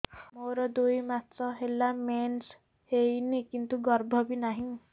ମୋର ଦୁଇ ମାସ ହେଲା ମେନ୍ସ ହେଇନି କିନ୍ତୁ ଗର୍ଭ ବି ନାହିଁ